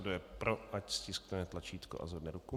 Kdo je pro, ať stiskne tlačítko a zvedne ruku.